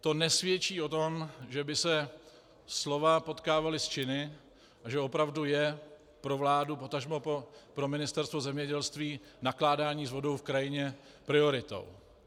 To nesvědčí o tom, že by se slova potkávala s činy a že opravdu je pro vládu, potažmo pro Ministerstvo zemědělství, nakládání s vodou v krajině prioritou.